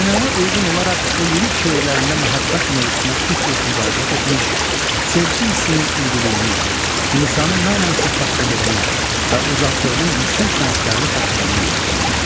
Ənənəyə uyğun olaraq o, lirik şeirlərində məhəbbət mövzusuna tez-tez müraciət etmiş, sevgi hissinin ülviliyini, insanı mənən saflaşdırdığını və ucaltdığını yüksək sənətkarlıqla tərənnüm etmişdir.